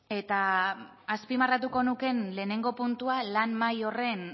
eta azpimarratuko nukeen lehengo puntua lan mahai horren